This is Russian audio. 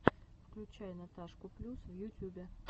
включай наташку плюс в ютюбе